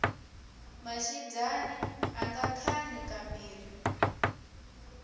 maxindyani anga khani ka mbirhi